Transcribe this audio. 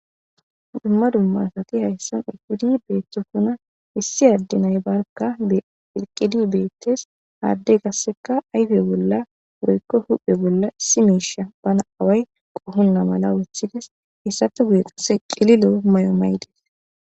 Duma duma asati haysan uthidi beetosona issi ade barka eqidi beetes ha ade kaseka ayfe bola huuphe bola issi miisha bana qohona mala wothides heysape guye Kase cililo mayo mayiday des.